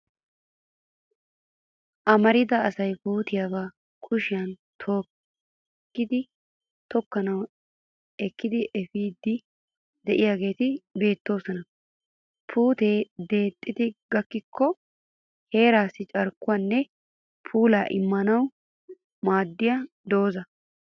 Amarida asay puutiya ba kushiyan tookkidi tokkanawu ekkidi efiiddi de'iyaagee beettes. Puutee dixxi gakkikko heeraassi carkkuwaaanne puulaa immanawu maaddiya doozza.